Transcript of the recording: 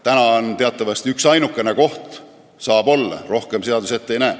Praegu võib teatavasti olla üksainukene koht, rohkem seadus ette ei näe.